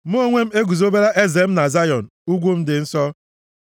“Mụ onwe m eguzobela m eze m na Zayọn, ugwu m dị nsọ.”